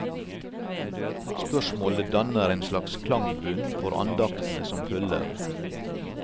Spørsmålet danner en slags klangbunn for andaktene som følger.